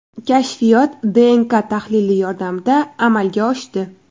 Kashfiyot DNK tahlili yordamida amalga oshdi.